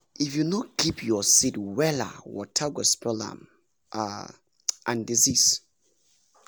if you no keep your seed wella water go spoil m um and disease